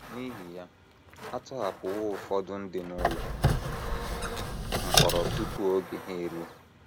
N’ihi ya, a tọhapụwo ụfọdụ ndị n’ụlọ mkpọrọ tupu oge ha eruo.